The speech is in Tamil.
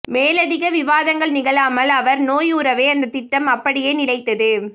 மேலதிக விவாதங்கள் நிகழாமல் அவர் நோயுறவே அந்தத் திட்டம் அப்படியே நிலைத்தது